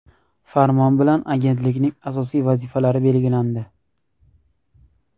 Farmon bilan Agentlikning asosiy vazifalari belgilandi.